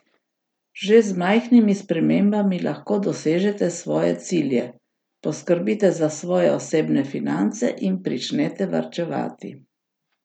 Že z majhnimi spremembami lahko dosežete svoje cilje, poskrbite za svoje osebne finance in pričnete varčevati.